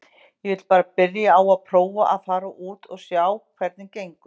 Ég vil bara byrja á að prófa að fara út og sjá hvernig gengur.